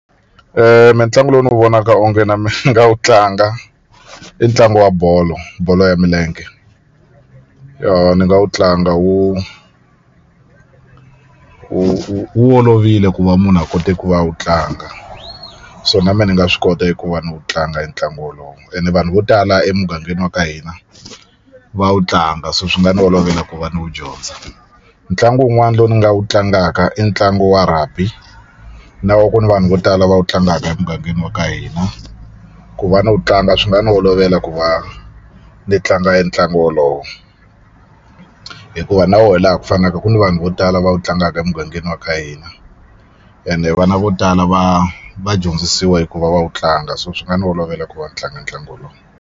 mina tlangu lowu ni wu vonaka onge na mina ni nga wu tlanga i ntlangu wa bolo bolo ya milenge ni nga wu tlanga wu wu wu olovile ku va munhu a kote ku va a wu tlanga so na mina ni nga swi kota eku va ni wu tlanga entlangu wolowo ene vanhu vo tala emugangeni wa ka hina va wu tlanga so swi nga ni olovela ku va ni wu dyondza ntlangu wun'wana lowu ni nga wu tlangaka i ntlangu wa Rugby na ku ni vanhu vo tala va wu tlangaka emugangeni wa ka hina ku va na wu tlanga swi nga ni olovela ku va ni tlanga entlangu wolowo hikuva na wona hi laha ku fanaka ku ni vanhu vo tala va wu tlangaka emugangeni wa ka hina ene vana vo tala va va dyondzisiwa eku va va wu tlanga so swi nga ni olovela ku va ni tlanga ntlangu wolowo.